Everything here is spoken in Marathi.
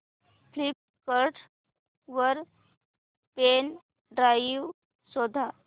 फ्लिपकार्ट वर पेन ड्राइव शोधा